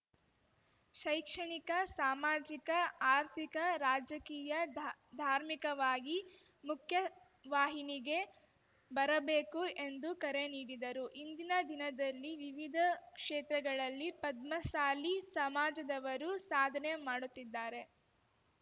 ಶೈಕ್ಷಣಿಕ ಸಾಮಾಜಿಕ ಆರ್ಥಿಕ ರಾಜಕೀಯ ಧಾ ಧಾರ್ಮಿಕವಾಗಿ ಮುಖ್ಯವಾಹಿನಿಗೆ ಬರಬೇಕು ಎಂದು ಕರೆ ನೀಡಿದರು ಇಂದಿನ ದಿನದಲ್ಲಿ ವಿವಿಧ ಕ್ಷೇತ್ರಗಳಲ್ಲಿ ಪದ್ಮಸಾಲಿ ಸಮಾಜದವರು ಸಾಧನೆ ಮಾಡುತ್ತಿದ್ದಾರೆ